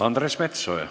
Andres Metsoja.